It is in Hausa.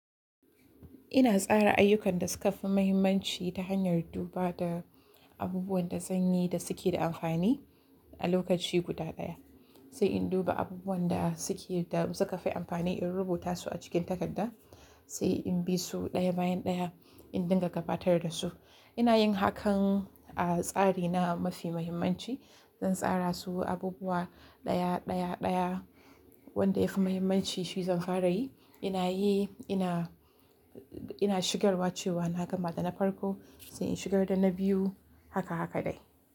Ina tsara ayyukan da suka fi mahimmanci ta hanyar duba da abubuwan da zanyi da suke da amfani a lokaci guda ɗaya. Sai in duba abubuwan da suke da suka fi amfani in rubuta su a cikin takarda. Sai in bi su ɗaya bayan ɗaya in dinga gabatar da su. Ina yin hakan a tsari na mafi mahimmanci. Zan tsara su abubuwa ɗaya, ɗaya, ɗaya wanda ya fi mahimmanci shi zan fara yi. Ina yi ina, ina shigarwa cewa na gama da na farko sai in shigar da na biyu haka, haka dai.